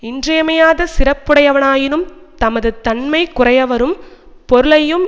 இன்றியமையாத சிறப்புடையனவாயினும் தமது தன்மை குறையவரும் பொருளையும்